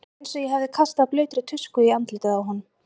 Það var eins og ég hefði kastað blautri tusku í andlitið á honum.